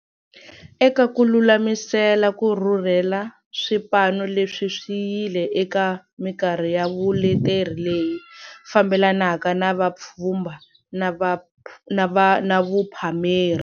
Eka ku lulamisela ku rhurhela, swipano leswi swi yile eka mikarhi ya vuleteri leyi fambelanaka na vupfhumba na vuphameri.